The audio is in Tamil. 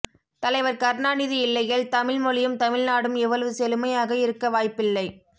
தலைவர் கருணாநிதி இல்லையேல் தமிழ் மொழியும் தமிழ் நாடும் இவ்வளவு செழுமை யாக இருக்க வாய்ப்பில்லை